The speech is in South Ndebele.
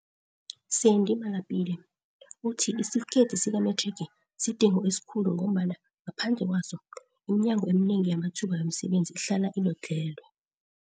Sandy Malapile, uthi isitifikedi sikamethrigi sidingo esikhulu ngombana ngaphandle kwaso, iminyango eminengi yamathuba wemisebenzi ihlala ilodlhelwe.